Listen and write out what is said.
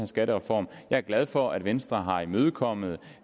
skattereform jeg er glad for at venstre har imødekommet